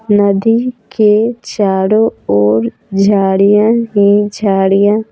नदी के चारों ओर झाड़ियां ही झाड़ियां--